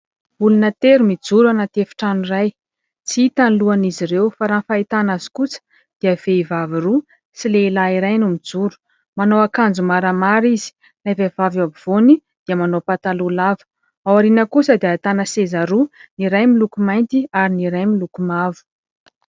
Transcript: olona tery mijoro ana tefitrano ray tsy hita ny lohan'izy ireo fa raha ny fahitana azy kosa dia vehivavy roa sy lehilahy iray no mijoro manao akanjo maramary izy inay vehivavy eo abivoany dia manao mpataloa lava ao ariana kosa dia tana sezaroa ny ray my lokomainty ary ny ray milokomavo